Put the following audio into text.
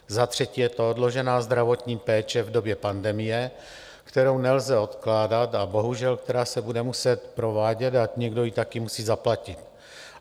Za třetí je to odložená zdravotní péče v době pandemie, kterou nelze odkládat a bohužel která se bude muset provádět, a někdo ji taky musí zaplatit.